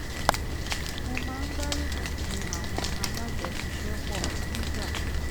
mo máa ń gbárùkù tí àwọn alájọṣiṣẹ́pọ̀ nígbà